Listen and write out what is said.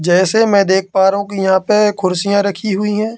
जैसे में देख पा रहा हूँ यहाँ पे कुर्सिया रखी हुई है।